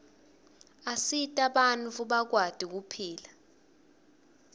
asita bantfu bakwati kuphila